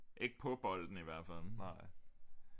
Ikke på bolden i hvert fald